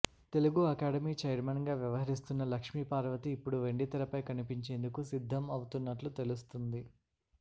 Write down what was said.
Telugu academy chairman గా వ్యవహరిస్తున్న లక్ష్మి పార్వతి ఇప్పుడు వెండితెరపై కనిపించేందుకు సిద్ధం అవుతున్నట్లు తెలుస్తుంది